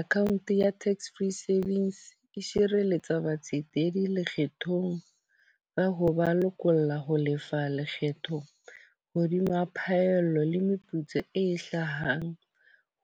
Account ya tax-free savings, e sireletsa batsetedi lekgetlong ba ho ba lokolla ho lefa lekgetho hodima phaello le meputso e hlahang